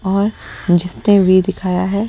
और जिसने भी दिखाया है--